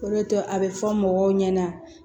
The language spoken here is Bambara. O de to a bɛ fɔ mɔgɔw ɲɛna